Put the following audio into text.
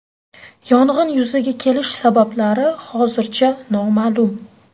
Yong‘in yuzaga kelish sabablari hozircha noma’lum.